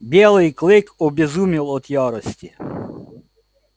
белый клык обезумел от ярости